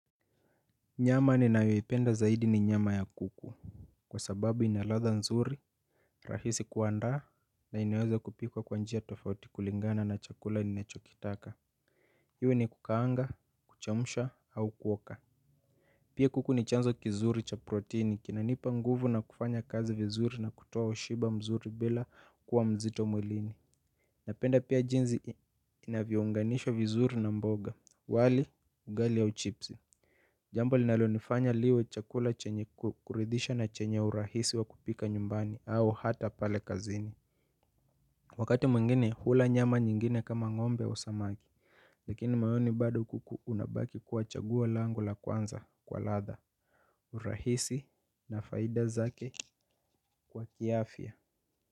Nyama ninayoipenda zaidi ni nyama ya kuku kwa sababu ina ladha nzuri rahisi kuandaa na inaweza kupikwa kwa njia tofauti kulingana na chakula ninachokitaka. Iwe ni kukaanga kuchemusha au kuoka. Pia kuku ni chanzo kizuri cha protini kinanipa nguvu na kufanya kazi vizuri na kutoa washiba mzuri bila kuwa mzito mwilini. Napenda pia jinsi inavyounganishwa vizuri na mboga, walli, ugali au chips. Jambo linalonifanya liwe chakula chenye kuridhisha na chenye urahisi wa kupika nyumbani au hata pale kazini. Wakati mwingine hula nyama nyingine kama ng'ombe au samaki. Lakini maoni bado kuku inabaki kuwa chaguo langu la kwanza kwa ladha. Urahisi na faida zake kwa kiafya.